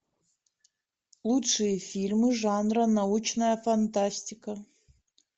лучшие фильмы жанра научная фантастика